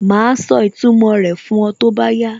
Màá sọ ìtumò rẹ̀ fún ọ tó bá yá